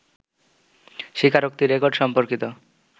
স্বীকারোক্তি রেকর্ড সম্পর্কিত